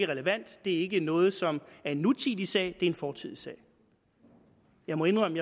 relevant at det ikke er noget som er en nutidig sag er en fortidig sag jeg må indrømme